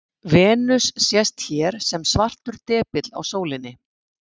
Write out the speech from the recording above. Venus sést hér sem svartur depill á sólinni.